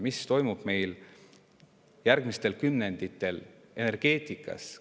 Mis toimub meil järgmistel kümnenditel energeetikas?